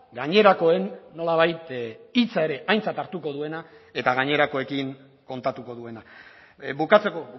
gainerakoen nolabait hitza ere aintzat hartuko duena eta gainerakoekin kontatuko duena bukatzeko